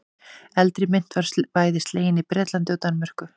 Eldri mynt var bæði slegin í Bretlandi og Danmörku.